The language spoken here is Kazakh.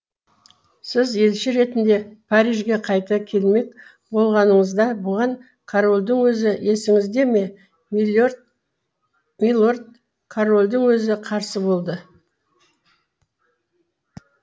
сіз елші ретінде парижге қайта келмек болғаныңызда бұған корольдің өзі есіңізде ме милорд корольдің өзі қарсы болды